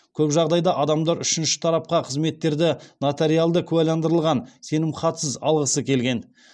көп жағдайда адамдар үшінші тарапқа қызметтерді нотариалды куәландырылған сенімхатсыз алғысы келген